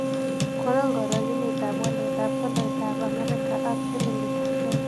Konon karogenetap waletap tolaitap amerika ak silingiitap kenya